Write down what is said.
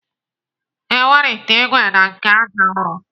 E nwere ite ìgwè na nke àjà ụrọ.